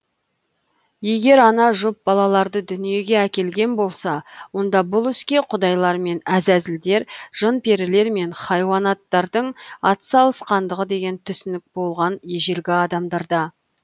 егер ана жұп балаларды дүниеге әкелген болса онда бұл іске құдайлар мен әзәзілдер жын перілер мен хайуанаттардың атсалысқандығы деген түсінік болған ежелгі адамдарда